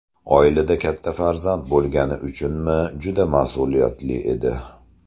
Oilada katta farzand bo‘lgani uchunmi juda mas’uliyatli edi.